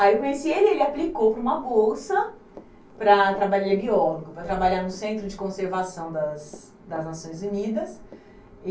Aí eu conheci ele, ele aplicou para uma bolsa para trabalhar, ele é biólogo, para trabalhar no Centro de Conservação das das Nações Unidas.